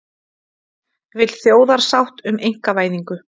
Vill þjóðarsátt um einkavæðingu